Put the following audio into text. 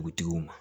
Dugutigiw ma